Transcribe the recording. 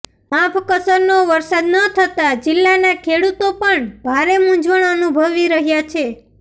માફકસરનો વરસાદ ન થતાં જિલ્લાના ખેડૂતો પણ ભારે મુંઝવણ અનુભવી રહ્યાં છે